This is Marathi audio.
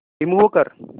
रिमूव्ह कर